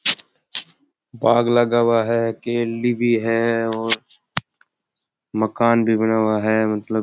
बाग़ लगा हुआ है केले भी है और मकान भी बना हुआ है मतलब --